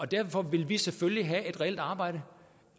derfor vil vi selvfølgelig have et reelt arbejde